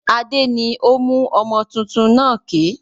Adé ni ó mú ọmọ tuntun náà ké.